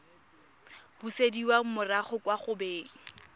busediwa morago kwa go beng